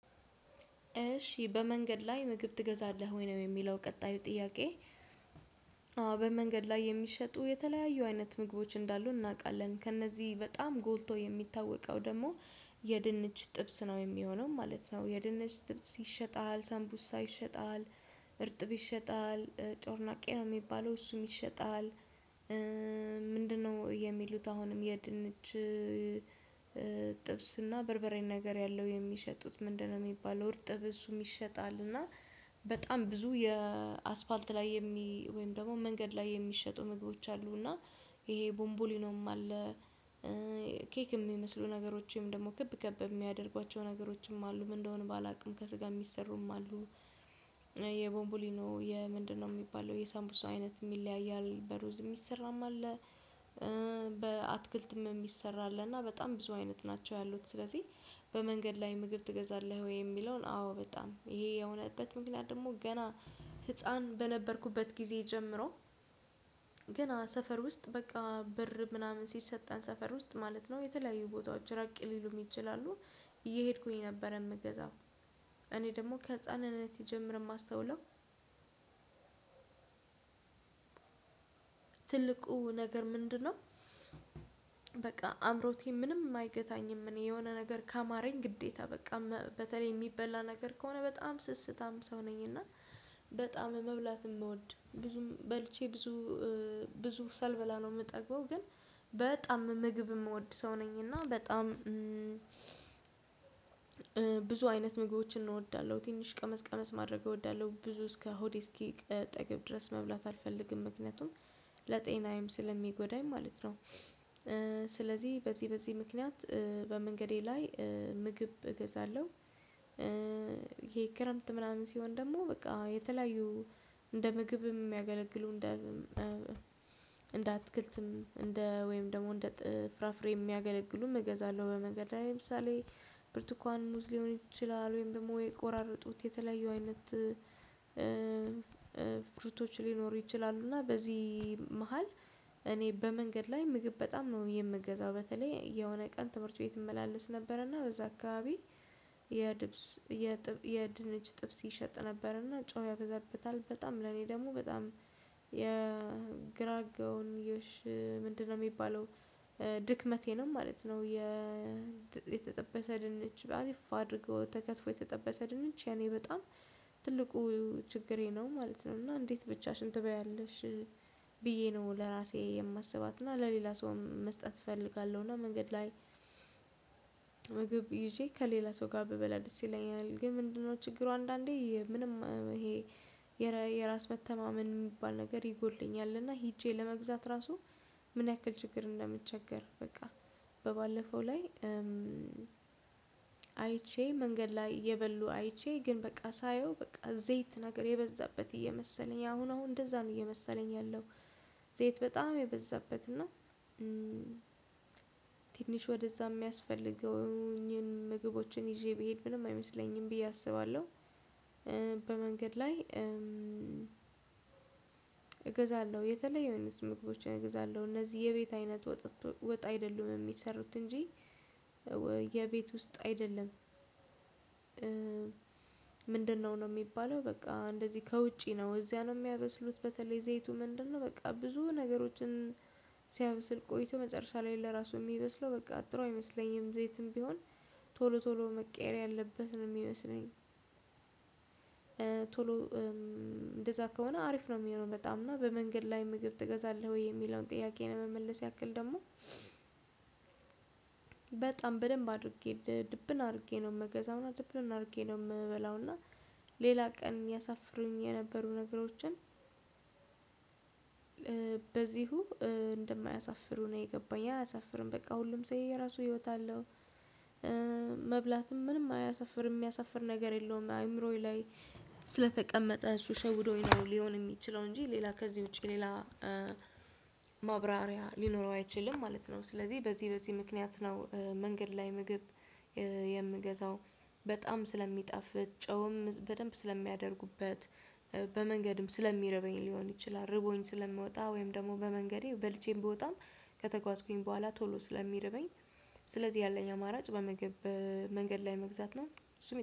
"እሺ በመንገድ ላይ ምግብ ትገዛለህ ወይ?" ነው የሚለው ቀጣዩ ጥያቄ። አዎ በመንገድ ላይ የሚሸጡ የተለያዩ አይነት ምግቦች እንዳሉ እናውቃለን። ከእነዚህ በጣም ጎልቶ የሚታወቀው ደግሞ የድንች ጥብስ ነው የሚሆነው ማለት ነው። የድንች ጥብስ ይሸጣል፣ ሰምቡሳ ይሸጣል፣ እርጥብ ይሸጣል፣ ጮርናቄ ነው የሚባለው እሱም ይሸጣል፣ ምንድነው የሚሉት አሁንም የድንች ጥብስና በርበሬን ነገር ያለው የሚሸጡት ምንድነው የሚባለው እርጥብ እሱም ይሸጣል እና በጣም ብዙ የ አስፓልት ላይ የሚ ወይም ደግሞ መንገድ ላይ የሚሸጡ ምግቦች አሉ እና ይሄ ቦንቦሊኖም አለ ኬክም የሚመስሉ ነገሮችም ደግሞ ክብ ክብ የሚያደርጓቸው ነገሮችም አሉ ምን እንደሆኑ ባላውቅም ከስጋ የሚሰሩም አሉ የቦንቡሊኖ የምንድነው የሚባለው የሳንቡስ አይነትም ይለያያል በሩዝ የሚሰራም አለ በአትክልትም የሚሰራ አለና በጣም ብዙ አይነት ናቸው ያሉት ስለዚህ በመንገድ ላይ ምግብ ትገዛለህ ወይ የሚለውን አዎ በጣም ይሄ የሆነበት ምክንያት ደግሞ ገና ህፃን በነበርኩበት ጊዜ ጀምሮ ገና ሰፈር ውስጥ በቃ ብር ምናምን ሲሰጠን ሰፈር ውስጥ ማለት ነው የተለያዩ ቦታዎች ራቅ ሊሉም ይችላሉ። እየሄድኩኝ ነበር የምገዛው እኔ ደግሞ ከህፃንነቴ ጀምረ ማስተውለው ትልቁ ነገር ምንድነው በቃ አምሮቴ ምንም አይገታኝም እኔ የሆነ ነገር ካማረኝ ግዴታ በቃ መ በተለይ የሚበላ ነገር ከሆነ በጣም ስስታም ሰው ነኝ እና በጣም መብላት የምወድ ብዙም በልቼ ብዙ ብዙ ሳልበላ ነው የምጠግበው ግን በጣም ምግብ የምወድ ሰው ነኝ እና በጣም ብዙ አይነት ምግቦችን እወዳለሁ ትንሽ ቀመስ ቀመስ ማድረግ እወዳለሁ። ብዙ እስከ ሆዴ እስኪ ቀጠግብ ድረስ መብላት አልፈልግም ምክንያቱም ለጤናዬም ስለሚጎዳኝ ማለት ነው። ስለዚህ በዚህ በዚህ ምክንያት በመንገዴ ላይ ምግብ እገዛለሁ። ይሄ ክረምት ምናምን ሲሆን ደግሞ በቃ የተለያዩ እንደ ምግብም የሚያገለግሉ እንደ እንደ አትክልትም እንደ ወይም ደግሞ እንደ ፍራፍሬ የሚያገለግሉም እገዛለሁ በመንገድ ላይ ለምሳሌ ብርቱካን ሙዝ ሊሆን ይችላል ወይም ደግሞ የቆራረጡት የተለያዩ አይነት ሊኖሩ ይችላሉ፤ እና በዚህ መሃል እኔ በመንገድ ላይ ምግብ በጣም ነው የምገዛው በተለይ የሆነ ቀን ትምህርት ቤት እመላለስ ነበረ እና በዛ አካባቢ የድብስ የድንች ጥብስ ይሸጥ ነበረ እና ጨው ያበዛብታል በጣም ለኔ ደግሞ በጣም የግራጋውንዮሽ ምንድነው የሚባለው ድክመቴ ነው ማለት ነው። የተጠበሰ ድንች በ አሪፋ አድርገው ተከትፎ የተጠበሰ ድንች የኔ በጣም ትልቁ ችግሬ ነው ማለት ነው እና እንዴት ብቻሽን ትበያለሽ ብዬ ነው ለራሴ የማስባት እና ለሌላ ሰውም መስጠት እፈልጋለሁ እና መንገድ ላይ ምግብ ይዤ ከሌላ ሰው ጋር ብበላ ደስ ይለኛል ግን ምንድነው ችግሩ አንዳንዴ ምንም ይሄ የራ የራስ መተማመን የሚባል ነገር ይጎድለኛል እና ሄጄ ለመግዛት ራሱ ምን ያክል ችግር እንደምቸገር በቃ በባለፈው ላይ አይቼ መንገድ ላይ እየበሉ አይቼ ግን በቃ ሳየው በቃ ዘይት ነገር የበዛበት እየመሰለኝ አሁን አሁን እንደዛም እየመሰለኝ ያለው ዘይት በጣም የበዛበት እና ትንሽ ወደዛ የሚያስፈልገውኝን ምግቦችን ይዤ ብሄድ ምንም አይመስለኝም ብዬ አስባለሁ። በመንገድ ላይ እገዛለሁ የተለያዩ አይነት ምግቦችን እግዛለሁ እነዚህ የቤት አይነት ወጥ ወጥ አይደሉም የሚሰሩት እንጂ የቤት ውስጥ አይደለም። ምንድነው ነው የሚባለው በቃ እንደዚህ ከውጪ ነው እዚያ ነው የሚያበስሉት በተለይ ዘይቱ ምንድነው በቃ ብዙ ነገሮችን ሲያበስል ቆይቶ መጨረሻ ላይ ለራሱ የሚበስለው በቃ ጥሩ አይመስለኝም ዘይትም ቢሆን ቶሎ ቶሎ መቀየር ያለበት ነው የሚመስለኝ ቶሎ እንደዛ ከሆነ አሪፍ ነው የሚሆነው በጣም እና በመንገድ ላይ ምግብ ትገዛለህ ወይ የሚለውን ጥያቄ ለመመለስ ያክል ደግሞ በጣም በደንብ አድርጌ ድብን አድርጌ ነው የምገዛውና ድብን አድርጌ ነው የምበላውና ሌላ ቀን ያሳፍሩኝ የነበሩ ነገሮችን በዚሁ እንደማያሳፍሩ ነው የገባኝ አያሳፍርም በቃ ሁሉም ሰውዬ የየራሱ ህይወት አለው። መብላትም ምንም አያሳፍርም የሚያሳፍር ነገር የለውም አይምሮዬ ላይ ስለተቀመጠ እሱ ሸውዶኝ ነው ሊሆን የሚችለው እንጂ ሌላ ከዚህ ውጪ ሌላ ማብራሪያ ሊኖረው አይችልም ማለት ነው ስለዚህ በዚህ በዚህ ምክንያት ነው መንገድ ላይ ምግብ የምገዛው በጣም ስለሚጣፍጥ፣ ጨውም በደንብ ስለሚያደርጉበት፣ በመንገድም ስለሚርበኝ ሊሆን ይችላል ርቦኝ ስለምወጣ ወይም ደግሞ በመንገዴ በልቼም ብወጣም ከተጓዝኩኝ በኋላ ቶሎ ስለሚረበኝ ስለዚህ ያለኝ አማራጭ በምግብ መንገድ ላይ መግዛት ነው።